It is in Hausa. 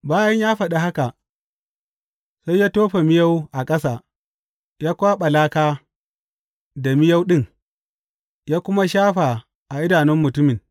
Bayan ya faɗi haka, sai ya tofa miyau a ƙasa, ya kwaɓa laka da miyau ɗin, ya kuma shafa a idanun mutumin.